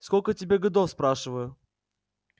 сколько тебе годов спрашиваю